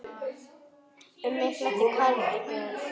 Um mig flæddi kaldur bjór.